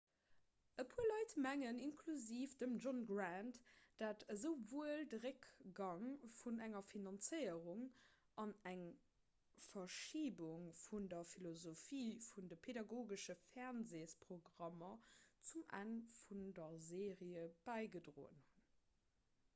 e puer leit mengen inklusiv dem john grant datt esouwuel de réckgang vun der finanzéierung an eng verschibung vun der philosophie vun de pedagogesche fernseesprogrammer zum enn vun der serie bäigedroen hunn